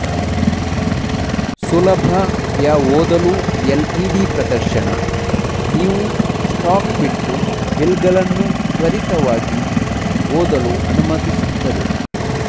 ಸುಲಭ ಯಾ ಓದಲು ಎಲ್ಇಡಿ ಪ್ರದರ್ಶನ ನೀವು ಸ್ಟಾಕ್ ಒಟ್ಟು ಬಿಲ್ಗಳನ್ನು ತ್ವರಿತವಾಗಿ ಓದಲು ಅನುಮತಿಸುತ್ತದೆ